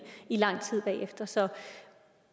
i lang tid bagefter så